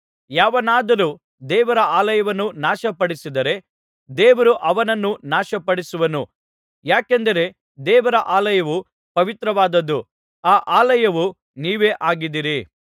ಯಾವನಾದರೂ ದೇವರ ಆಲಯವನ್ನು ನಾಶಪಡಿಸಿದರೆ ದೇವರು ಅವನನ್ನು ನಾಶಪಡಿಸುವನು ಯಾಕೆಂದರೆ ದೇವರ ಆಲಯವು ಪವಿತ್ರವಾದದ್ದು ಆ ಆಲಯವು ನೀವೇ ಆಗಿದ್ದೀರಿ